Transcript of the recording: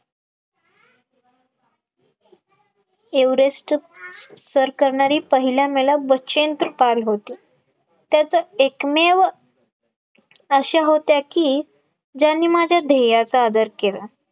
Everest सर करणारी पहिल्या महिला बचेंद्र पाल होती, त्याच एकमेव अशा होत्या की ज्यांनी माझ्या ध्यायेयाचा आदर केला